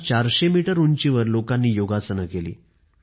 फ्रान्समध्ये आयफेल टॉवरच्या छायेत लोकांनी योगाभ्यास केला